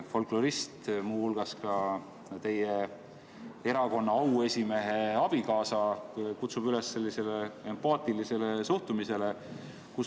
Folklorist, muu hulgas teie erakonna auesimehe abikaasa, kutsub üles empaatilisele suhtumisele.